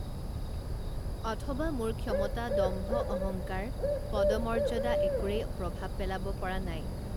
অথবা মোৰ ক্ষমতা দম্ভ অহংকাৰ পদমৰ্যদা একোৰেই প্ৰভাৱ পেলাব পৰা নাই